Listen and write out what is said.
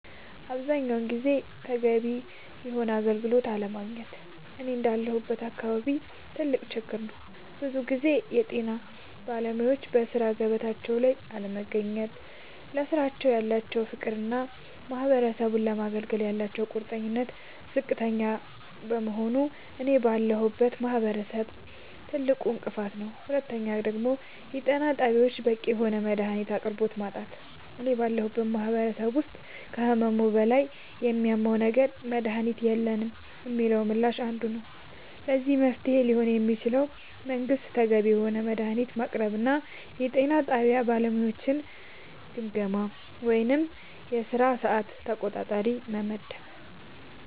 አብዛኛውን ጊዜ ተገቢውን የሆነ አገልግሎት አለማግኘት እኔ እንዳለሁበት አካባቢ ትልቅ ችግር ነዉ ብዙ ጊዜ የጤና ባለሙያወች በሥራ ገበታቸው ላይ አለመገኘት ለስራው ያላቸው ፍቅርና ማህበረሰቡን ለማገልገል ያላቸው ቁርጠኝነት ዝቅተኛ መሆኑ እኔ ባለሁበት ማህበረሰብ ትልቁ እንቅፋት ነዉ ሁለተኛው የጤና ጣቢያወች በቂ የሆነ የመድሃኒት አቅርቦት ማጣት እኔ ባለሁበት ማህበረሰብ ውስጥ ከህመሙ በላይ የሚያመው ነገር መድሃኒት የለንም የሚለው ምላሽ አንዱ ነዉ ለዚህ መፍትሄ ሊሆን የሚችለው መንግስት ተገቢውን የሆነ መድሃኒት ማቅረብና የጤና ጣቢያ ባለሙያወችን ግምገማ ወይም የስራ ሰዓት ተቆጣጣሪ መመደብ